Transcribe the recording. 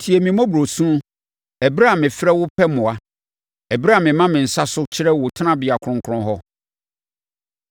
Tie me mmɔborɔ su ɛberɛ a mefrɛ wo pɛ mmoa ɛberɛ a mema me nsa so kyerɛ wo Tenabea Kronkron hɔ.